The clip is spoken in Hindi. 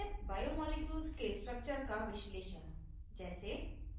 बड़े बायोमॉलिक्यूल्स के structure का विश्लेषण जैसे